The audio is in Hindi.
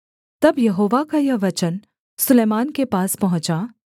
तब यहोवा का यह वचन सुलैमान के पास पहुँचा